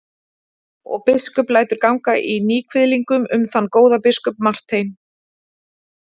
Og biskup lætur ganga í níðkviðlingum um þann góða biskup Martein.